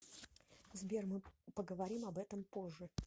сбер мы поговорим об этом позже